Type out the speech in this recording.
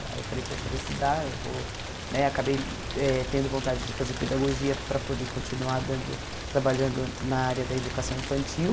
Aí eu falei, poxa, eu vou estudar, eu vou né... Acabei eh tendo vontade de fazer pedagogia para poder continuar dando trabalhando na área da educação infantil.